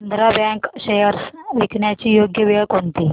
Andhra bank shares विकण्याची योग्य वेळ कोणती